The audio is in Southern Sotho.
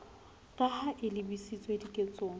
ka ha e lebisitswe diketsong